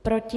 Proti?